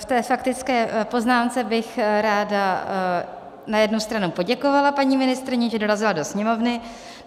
V té faktické poznámce bych ráda na jednu stranu poděkovala paní ministryni, že dorazila do Sněmovny.